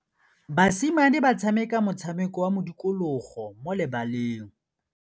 Basimane ba tshameka motshameko wa modikologô mo lebaleng.